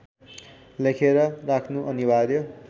लेखेर राख्नु अनिवार्य